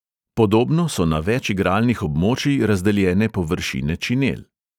Podobno so na več igralnih območij razdeljene površine činel.